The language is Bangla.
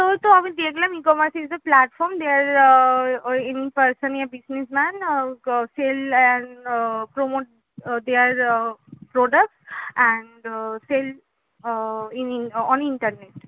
ওই তো আমি দেখলাম ecommerce is a platform there uh person a business man uh sell and promote they are products and sell in on internet